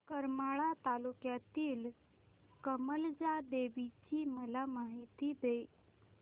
करमाळा तालुक्यातील कमलजा देवीची मला माहिती दे